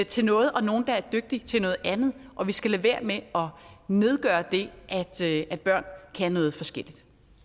til noget og nogle der er dygtige til noget andet og vi skal lade være med at nedgøre det at børn kan noget forskelligt